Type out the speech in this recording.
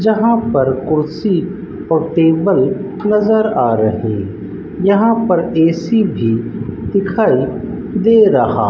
जहां पर कुर्सी और टेबल नजर आ रहे यहां पर ए_सी भी दिखाई दे रहा --